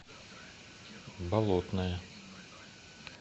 болотное